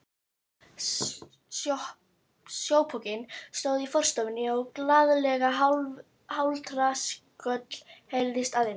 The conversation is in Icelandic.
Sjópokinn stóð í forstofunni og glaðleg hlátrasköll heyrðust að innan.